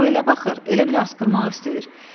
O elə baxır, elə bil asqırmaq istəyir.